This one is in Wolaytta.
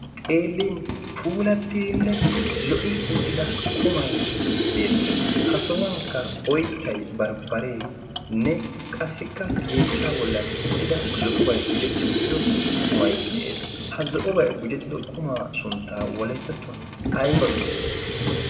xeelin puulattiinne lo77i uttida qumai beettees. ha sohuwankka oittai barbbareenne qassikka yeechcha bollan uttida zo7obai gujetti uttido qumai de7ees. ha zo7obai gujettido qumaa sunttaa wolettattuwan ai bagiyo?